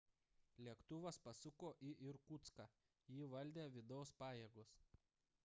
lėktuvas pasuko į irkutską jį valdė vidaus pajėgos